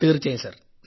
തീർച്ചയായും സർ